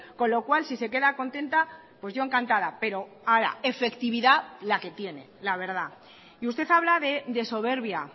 con lo cual si se queda contenta yo encantada pero ahora efectividad la que tiene la verdad y usted habla de soberbia